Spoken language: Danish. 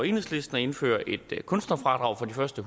enhedslisten at indføre et kunstnerfradrag for de første